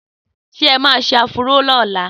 Sé ẹ ma ṣe áfúró ní ọ̀la?